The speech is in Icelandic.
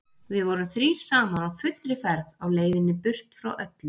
Við vorum þrír saman á fullri ferð á leiðinni burt frá öllu.